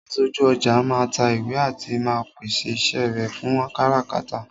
Aṣojú ọjà máa ń ta ìwé àti máa ń pèsè iṣẹ́ rẹ fún káràkátà